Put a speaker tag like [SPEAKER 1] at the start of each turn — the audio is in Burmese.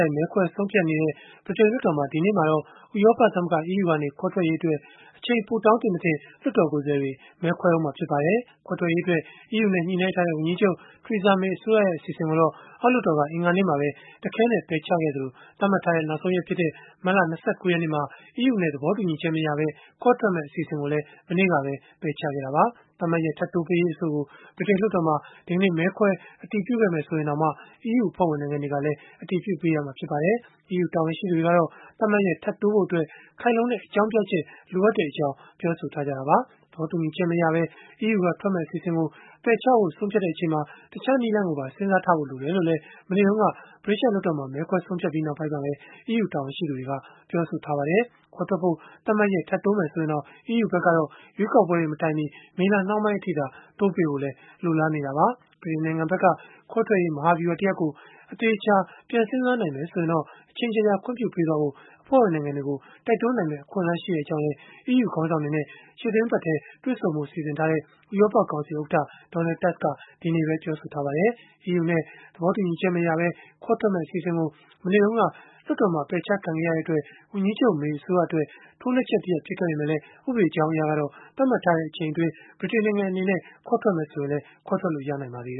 [SPEAKER 1] ိုက် မဲခွဲဆုံးဖြတ်နေတဲ့ ဗြိတိန်လွှတ်တော်မှာ ဒီနေ့မှာတော့ ဥရောပသမဂ္ဂ (EU) ကနေ ခွဲထွက်ရေးအတွက် အချိန်ပိုတောင်းသင့်-မသင့် လွှတ်တော်ကိုယ်စားလှယ်တွေ မဲခွဲဦးမှာ ဖြစ်ပါတယ်။ ခွဲထွက်ရေးအတွက် EU နဲ့ ညှိနှိုင်းထားတဲ့ ဝန်ကြီးချုပ် Theresa May အစိုးရရဲ့ အစီအစဉ်ကိုတော့ အောက်လွှတ်တော်က အင်္ဂါနေ့မှာပဲ တခဲနက် ပယ်ချခဲ့သလို၊ သတ်မှတ်ထားတဲ့ နောက်ဆုံးရက်ဖြစ်တဲ့ မတ်လ ၂၉ ရက်နေ့မှာ EU နဲ့ သဘောတူညီချက်မရပဲ ခွဲထွက်မယ့် အစီအစဉ်ကိုလည်း မနေ့ကပဲ ပယ်ချခဲ့တာပါ။ သတ်မှတ်ရက် ထပ်တိုးပေးရေး အဆိုကို ဗြိတိန်လွှတ်တော်မှာ ဒီကနေ့ မဲခွဲအတည်ပြုခဲ့မယ် ဆိုရင်တောင် EU အဖွဲ့ဝင် နိုင်ငံတွေကလည်း အတည်ပြုပေးရမှာ ဖြစ်ပါတယ်။ EU တာဝန်ရှိသူတွေကတော့ သတ်မှတ်ရက် ထပ်တိုးဖို့အတွက် ခိုင်လုံတဲ့အကြောင်းပြချက် လိုအပ်ကြောင်း ပြောဆိုထားကြတာပါ။ သဘောတူညီချက်မရပဲ EU က ထွက်မယ့်အစီအစဉ်ကို ပယ်ချဖို့ ဆုံးဖြတ်ချိန်မှာ တခြားနည်းလမ်းကို စဉ်းစားထားဖို့ လိုတယ်လို့လည်း မနေ့တုန်းက ဗြိတိသျှလွှတ်တော်မှာ မဲခွဲပြီးနောက်ပိုင်းမှာပဲ ပြောဆိုထားကြပါတယ်။ ခွဲထွက်ဖို့ သတ်မှတ်ရက် ထပ်တိုးမယ် ဆိုရင်တောင် EU ဖက်ကတော့ ရွေးကောက်ပွဲတွေ မတိုင်မီ မေလနှောင်းပိုင်းအထိသာ တိုးပေးဖို့လည်း လိုလားနေတာပါ။ ဗြိတိန်နိုင်ငံဖက်က ခွဲထွက်ရေး မဟာဗျုဟာတရပ်ကို အသေအချာ ပြန်စဉ်းစားနိုင်မယ် ဆိုရင်တော့ အချိန်ကြာကြာ ခွင့်ပြုပေးဖို့ အဖွဲ့ဝင်နိုင်ငံတွေကို တိုက်တွန်ုးနိုင်မယ့် အခွင့်အလန်း ရှိတဲ့အကြောင်းလည်း EU ခေါင်းဆောင်တွေနဲ့ ရှေ့သီတင်းပတ်ထဲ တွေ့ဆုံဖို့ရှိနေတဲ့ ဥရောပကောင်စီ ဥက္ကဋ္ဌ Donald Tusk က ဒီနေ့ပဲ ပြောဆိုလိုက်ပါတယ်။ EU နဲ့ သဘောတူညီချက်မရပဲ ခွဲထွက်မယ့် အစီအစဉ်ကို မနေ့တုန်းက လွှတ်တော်မှာ ပယ်ချခံခဲ့ရတဲ့အတွက် ဝန်ကြီးချုပ် May အစိုးရအတွက် ထိုးနှက်ချက်တရပ် ဖြစ်ခဲ့ပေမဲ့လည်း ဥပဒေကြောင်းအရကတော့ သတ်မှတ်ထားတဲ့ အချိန်အတွင်း ဗြိတိန်နိုင်ငံအနေနဲ့ ခွဲထွက်မယ်ဆိုရင်လည်း ခွဲထွက်လို့ ရပါသေး